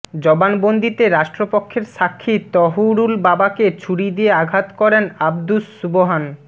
জবানবন্দিতে রাষ্ট্রপক্ষের সাক্ষী তহুরুল বাবাকে ছুরি দিয়ে আঘাত করেন আবদুস সুবহান